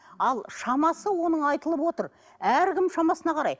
ал шамасы оның айтылып отыр әркім шамасына қарай